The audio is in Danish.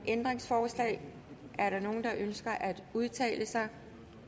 ændringsforslag er der nogen der ønsker at udtale sig